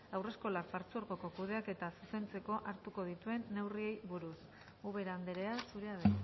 haurreskolak partzuergoko kudeaketa zuzentzeko hartuko dituen neurriei buruz ubera andrea zurea da